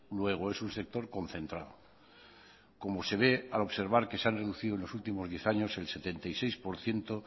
luego es un sector concentrado como se ve al observar que se han reducido en los últimos diez años el setenta y seis por ciento